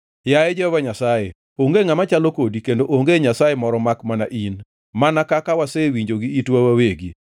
“Yaye Jehova Nyasaye, onge ngʼama chalo kodi kendo onge Nyasaye moro makmana in, mana kaka wasewinjo gi itwa wawegi.